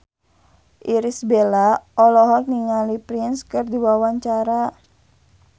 Irish Bella olohok ningali Prince keur diwawancara